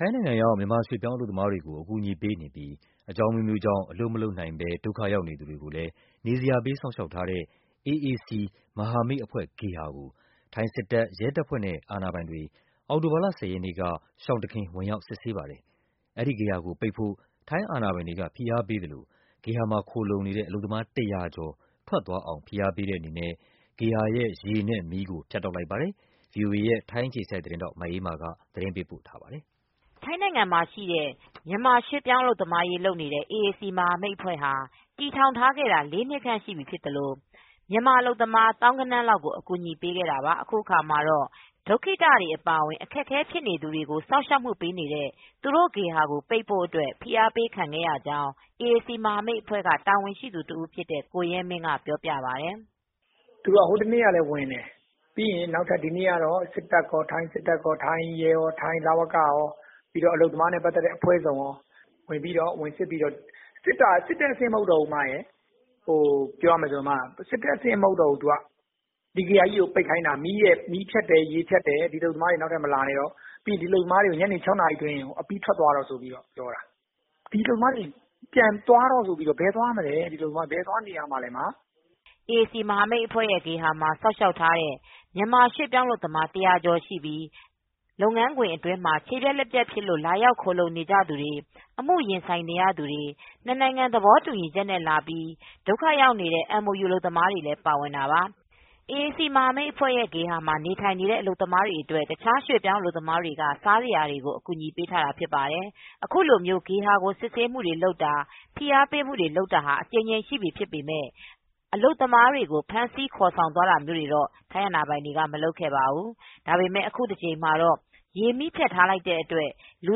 ိုင်းနိုင်ငံရောက် မြန်မာရွှေ့ပြောင်းအလုပ်သမားတွေကို အကူအညီပေးနေပြီး အကြောင်းအမျိုးမျိုးကြောင့် အလုပ် မလုပ်နိုင်သူတွေကိုလည်း နေစရာပေး စောင့်ရှောက်ထားတဲ့ ဘန်ကောက်မြို့တော်က AAC မဟာမိတ်အဖွဲ့ဂေဟာကို ထိုင်းစစ်တပ်၊ ရဲတပ်ဖွဲ့နဲ့ အာဏာပိုင် တွေ အောက်တိုဘာလ ၁၀ ရက်နေ့က ရှောင်တခင် ဝင်ရောက် စစ်ဆေးပါတယ်။ အဲဒီဂေဟာကိုပိတ်ဖို့ ထိုင်းအာဏာပိုင်တွေက ဖိအားပေးသလို ဂေဟာမှာခိုလှုံနေတဲ့ အလုပ်သမား ၁၀၀ ကျော် ထွက်သွားအောင် ဖိအားပေးတဲ့အနေနဲ့ ဂေဟာရဲ့ ရေနဲ့မီးကို ဖြတ်တောက်လိုက်ပါတယ်။ ဗွီအိုအေ ထိုင်းအခြေစိုက်သတင်းထောက် မအေးမာက သတင်းပေးပို့ထားပါတယ်။ ထိုင်းနိုင်ငံမှာရှိတဲ့ ရွှေ့ပြောင်းအလုပ်သမားရေးလုပ်နေတဲ့ အေအေစီမဟာမိတ်အဖွဲ့ကို တည်ထောင်ခဲ့တာ လေးနှစ်ကြာရှိနေသလို အလုပ်သမားသောင်းဂဏန်းချီပြီး အကူညီပေးနိုင်ခဲ့ပါတယ်။ အခုအခါမှာတော့ ဒုက္ခိတတွေ အပါအဝင် အခက်အခဲဖြစ်နေ သူတွေကိုစောင့်ရှောက်ဖို့ ဖွင့်လှစ်ထားတဲ့ ဂေဟာကို ပိတ်ဖို့အတွက် ဖိအားပေးခံခဲ့ရကြောင်း အေအေစီမဟာမိတ်အဖွဲ့ တာဝန်ရှိသူတဦးဖြစ်တဲ့ ကိုရဲမင်းက ဗွီအိုအေကို ပြောပါတယ်။ "ဟိုတနေ့ ကလည်းလာတယ်။ ဒီနေ့ကတော့ စစ်တပ်ရော၊ ထိုင်းရဲရော၊ လဝကရော အလုပ်သမားနဲ့ ပတ်သက်တဲ့ အဖွဲ့ စုံရော ဝင်စစ်တယ်။ ဒါပေမယ့် ဝင်စစ်တဲ့အဆင့် မဟုတ်တော့ဘူး။ ဒီဂေဟာကို ပိတ်ခိုင်းတာ။ အလုပ်သမားတွေကို ညနေ ၆နာရီအတွင်း ထွက်ခွာဖို့ အတွက်ပြောတာ။ အလုပ်သမားတွေ ဘယ်သွားနေရမလဲ။" အေအေစီမဟာမိတ်အဖွဲရဲ့ ဂေဟာမှာ စောင့်ရှောက်ထားတဲ့ ရွှေ့ပြောင်းအလုပ်သမား ၁၀၀ကျော်ရှိပြီး လုပ်ငန်းခွင်မှာ ခြေပြတ်၊ လက်ပြတ်ဖြစ်လို့လာရောက်ခိုလှုံနေသူတွေ၊ အမှုရင်ဆိုင်နေရသူတွေ၊ နှစ်နိုင်ငံသဘောတူညီချက်နဲ့လာပြီး ဒုက္ခရောက်နေတဲ့ MOU အလုပ်သမားတွေ လည်းပါဝင်တာပါ။ အေအေစီမဟာမိတ်အဖွဲရဲ့ ဂေဟာမှာနေထိုင်နေတဲ့ အလုပ်သမားတွေအတွက် တခြားရွှေ့ပြောင်းအလုပ်သမားတွေက စားစရာတွေကို အကူညီပေးထားတာဖြစ်ပါတယ်။ အခုလို ဂေဟာကို စစ်ဆေးတာ၊ ဖိအားပေးတာ အကြိမ်ကြိမ်ရှိပြီဖြစ်ပေမဲ့ အလုပ်သမားတွေကို ဖမ်းခေါ်သွားတာာမျိုးတွေတော့ မလုပ်ခဲ့ပါဘူး။ ဒါပေမဲ့အခုတကြိမ်မှာ ရေမီးဖြတ်ထားတဲ့အတွက် လူ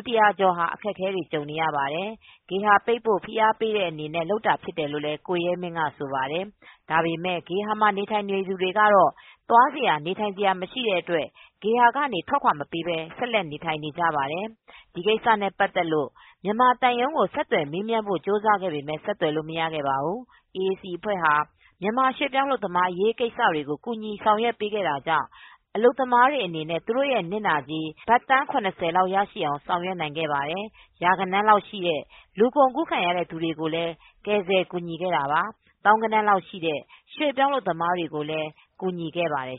၁၀၀ကျော်ဟာ အခက်အခဲတွေကြုံနေရပါတယ်။ ဂေဟာပိတ်ဖို့ ဖိအားပေးတဲ့အနေနဲ့ လုပ်တာဖြစ်တယ်လို့လည်း ကိုရဲမင်းက ဆိုပါတယ်။ ဒါပေမဲ့ ဂေဟာမှာ နေထိုင်နေသူတွေကတော့ သွားစရာနေထိုင် စရာမရှိတဲ့အတွက် ဂေဟာကနေ ထွက်ခွါမပေးပဲနေထိုင်နေကြပါတယ်။ ဒီကိစ္စနဲ့ ပတ်သက်လို့မြန်မာသံရုံးကို ဆက်သွယ်မေးမြန်းဖို့ကြိုးစားခဲ့ပေမဲ့ ဆက်သွယ်လို့မရခဲ့ပါဘူး။ အေအေစီအဖွဲ့ဟာ မြန်မာရွှေပြောင်းအလုပ်သမားအရေး ကိစ္စတွေကို ကူညီဆောင်ရွက်ပေးတာကြောင့် အလုပ်သမားတွေအနေနဲ့ သူတို့ရဲ့နစ်နာကြေး ဘတ်သန်း လောက်ထိရရှိအောင် ဆောင်ရွက်ခဲ့ပါတယ်။ ရာဂဏန်းလောက်ရှိတဲ့ လူကုန်ကူးခံရတဲ့ သူတွေကိုလည်း ကယ်ဆယ်ကူညီခဲ့တာပါ။ သောင်းဂဏန်းရှိတဲ့ ရွှေ့ပြောင်းအလုပ်သမားတွေကိုလည်း ကူညီခဲ့ပါတယ်